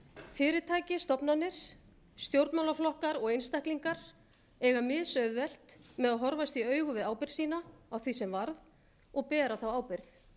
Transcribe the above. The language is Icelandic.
fyrirtæki stofnanir stjórnmálaflokkar og einstaklingar eiga mis auðvelt með að horfast í augu við ábyrgð sína á því sem varð og bera þá ábyrgð